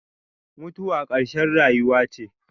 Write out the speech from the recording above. Mutuwa ƙarshen rayuwa ce.